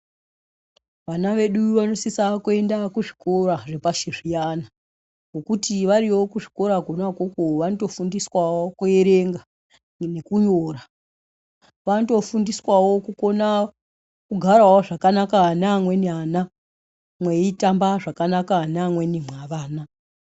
Vana vedu vanosisa kuenda kuzvikora zvepashi zviyana ngekuti variyo kuzvikora kwona ikwokwo vanotofundiswawo kuerenga nekunyora vanotofundiswawo kukona kugara zvakanaka nevamweni ana mweitamba zvakanaka nevamweni mwa vana.